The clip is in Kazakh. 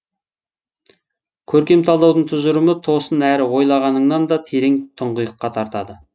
көркем талдаудың тұжырымы тосын әрі ойлағаныңнан да терең тұңғиыққа тартады